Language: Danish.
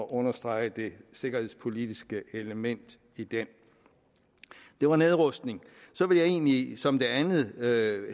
understrege det sikkerhedspolitiske element i den det var nedrustning så vil jeg egentlig som det andet